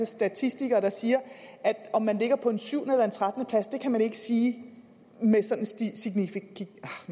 statistikere der siger at om man ligger på en syvende eller en trettende plads kan man ikke sige med sådan signifikant